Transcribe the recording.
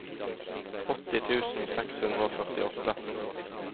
åtti tusen seks hundre og førtiåtte